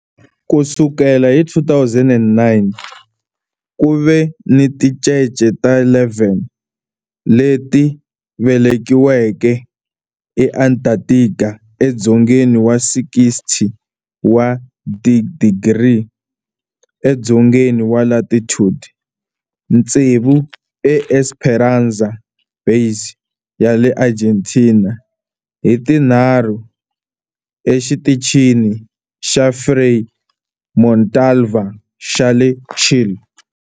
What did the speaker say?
Ku sukela hi 2009, ku ve ni tincece ta 11 leti velekiweke eAntarctica, edzongeni wa 60 wa tidigri edzongeni wa latitude, tsevu eEsperanza Base ya le Argentina ni tinharhu eXitichini xa Frei Montalva xa le Chile.